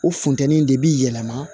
O funtɛni de bi yɛlɛma